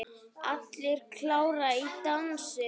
Allir klárir í dansinn?